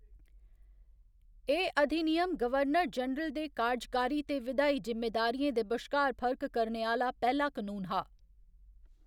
एह्‌‌ अधिनियम governor general दे कारजकारी ते विधायी जिम्मेदारियें दे बश्कार फर्क करने आह्‌‌‌ला पैह्‌‌ला कनून हा।